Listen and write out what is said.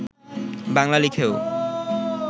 বাংলা লিখেও